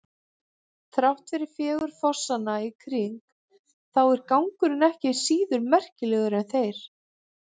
Þrátt fyrir fegurð fossanna í kring þá er gangurinn ekki síður merkilegur en þeir.